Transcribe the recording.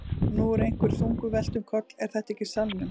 Og nú er einhverju þungu velt um koll. er þetta í salnum?